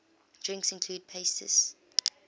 drinks include pastis